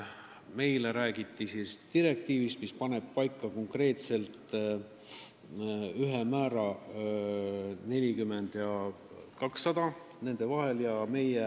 Meile räägiti direktiivist, mis paneb paika konkreetselt ühe määra: vahemik 40 ja 200 vahel.